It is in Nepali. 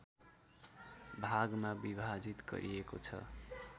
भागमा विभाजित गरिएको छ